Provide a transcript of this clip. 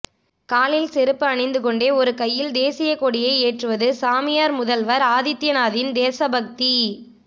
காலில் செருப்பு அணிந்துகொண்டே ஒரு கையில் தேசியக்கொடியை ஏற்றுவது சாமியார் முதல்வர் ஆதித்யநாத்தின் தேசபக்தி